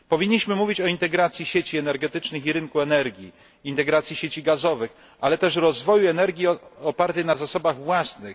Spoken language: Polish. Powinniśmy mówić o integracji sieci energetycznych i rynku energii, integracji sieci gazowych, ale też rozwoju energii opartej na zasobach własnych.